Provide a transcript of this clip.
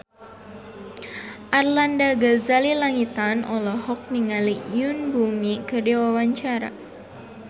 Arlanda Ghazali Langitan olohok ningali Yoon Bomi keur diwawancara